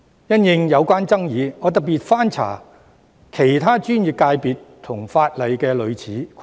因應有關的爭議，我特別翻查了其他專業界別和法例的類似規定。